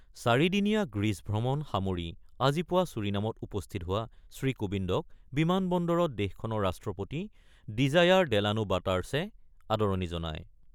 চাৰিদিনীয়া গ্ৰীচ ভ্ৰমণ সামৰি আজি পুৱা ছুৰিনামত উপস্থিত হোৱা শ্ৰীকোবিন্দক বিমান বন্দৰত দেশখনৰ ৰাষ্ট্ৰপতি ডিজায়াৰ ডেলানো বাটাৰ্ছে আদৰণি জনায়।